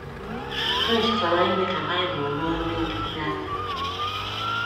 Chris chọrọ ime ka Bible ruo ndị nkịtị aka.